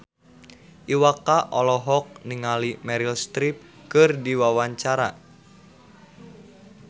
Iwa K olohok ningali Meryl Streep keur diwawancara